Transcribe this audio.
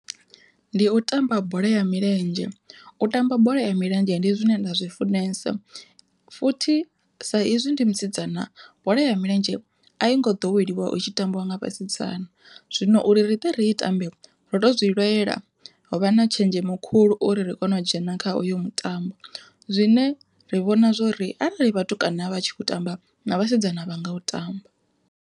Ndi u tamba bola ya milenzhe, u tamba bola ya milenzhe ndi zwine nda zwi funesa futhi sa izwi ndi musidzana bola ya milenzhe a i ngo ḓoweliwa itshi tambiwa nga vhasidzana. Zwino uri ri tea uri ri i tambe ro to zwi lwela ho vha na tshenzhemo khulu uri ri kone u dzhena kha uyo mutambo, zwine ra vhona zwori arali vhatukana vha tshi khou tamba na vhasidzana vhanga u tamba.